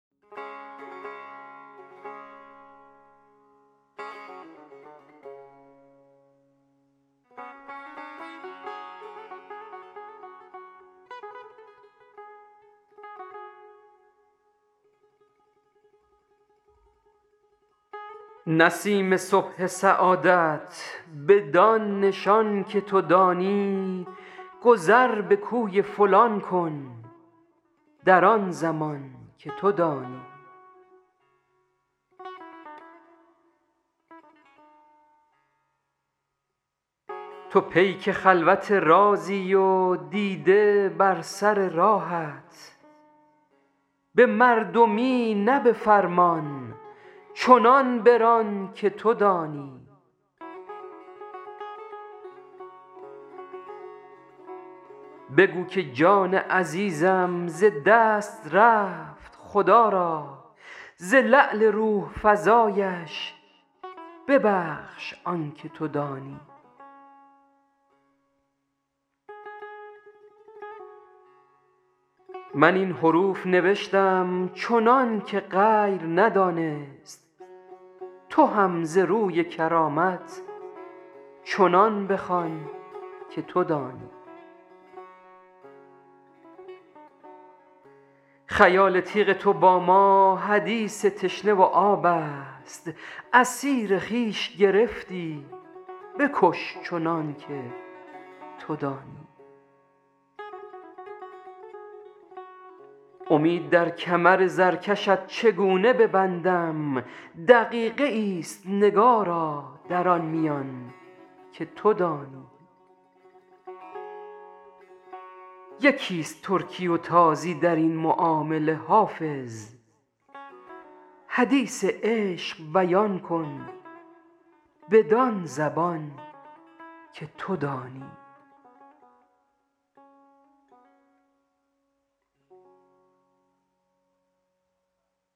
نسیم صبح سعادت بدان نشان که تو دانی گذر به کوی فلان کن در آن زمان که تو دانی تو پیک خلوت رازی و دیده بر سر راهت به مردمی نه به فرمان چنان بران که تو دانی بگو که جان عزیزم ز دست رفت خدا را ز لعل روح فزایش ببخش آن که تو دانی من این حروف نوشتم چنان که غیر ندانست تو هم ز روی کرامت چنان بخوان که تو دانی خیال تیغ تو با ما حدیث تشنه و آب است اسیر خویش گرفتی بکش چنان که تو دانی امید در کمر زرکشت چگونه ببندم دقیقه ای است نگارا در آن میان که تو دانی یکی است ترکی و تازی در این معامله حافظ حدیث عشق بیان کن بدان زبان که تو دانی